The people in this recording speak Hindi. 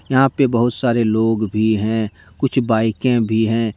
यहा पे बहुत सारे लोग भी है। कुछ बाइके भी है।